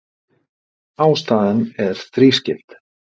Ástæðan er þrískipt